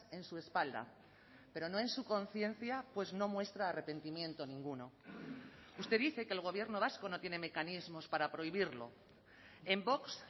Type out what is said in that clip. en su espalda pero no en su conciencia pues no muestra arrepentimiento ninguno usted dice que el gobierno vasco no tiene mecanismos para prohibirlo en vox